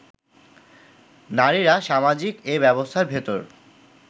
নারীরা সামাজিক এ ব্যবস্থার ভেতর